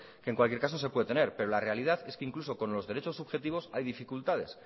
que en cualquier caso se puede tener pero la realidad es que incluso con los derechos subjetivos hay dificultades